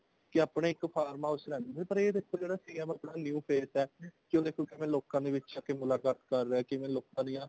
ਕੀ ਆਪਣੇ ਇੱਕ farm house ਚ ਰਹਿੰਦੇ ਸੀਗੇ ਪਰ ਇਹ ਦੇਖੋ ਜਿਹੜਾ CM ਆਪਣਾ ਜਿਹੜਾ new face ਹੈ ਉਹ ਦੇਖੋ ਕਿਵੇਂ ਲੋਕਾਂ ਦੇ ਵਿੱਚ ਆ ਕੇ ਮੁਲਾਕਾਤ ਕਰ ਰਿਹਾ ਕਿਵੇਂ ਲੋਕਾਂ ਦੀਆਂ